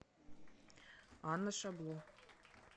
анна шабло